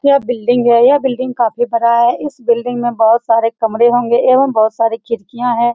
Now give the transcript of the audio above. यह बिल्डिंग है यह बिल्डिंग काफी बड़ा है इस बिल्डिंग में बहुत सारे कमरे होंगे एवं बहुत सारी खिड़कियाँ हैं।